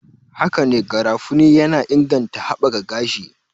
Hakane, garafuni yana inganta haɓakar gashi